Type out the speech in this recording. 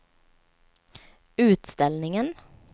utställningen